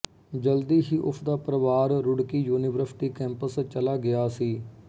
ਜਲਦੀ ਹੀ ਉਸ ਦਾ ਪਰਿਵਾਰ ਰੁੜਕੀ ਯੂਨੀਵਰਸਿਟੀ ਕੈਂਪਸ ਚਲਾ ਗਿਆ ਸੀ